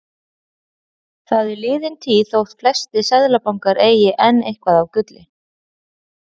Það er liðin tíð þótt flestir seðlabankar eigi enn eitthvað af gulli.